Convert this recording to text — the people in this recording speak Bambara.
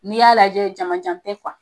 N'i y'a lajɛ jamanjan tɛ kuwa